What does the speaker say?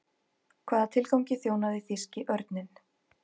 Hvaða tilgangi þjónaði þýski örninn?